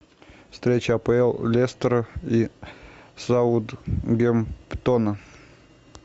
встреча апл лестера и саутгемптона